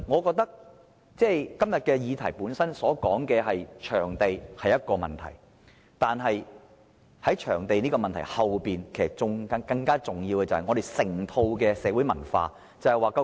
今天這項議案提出場地是一個問題，但在場地這個問題背後，更重要的是我們整個社會文化的問題。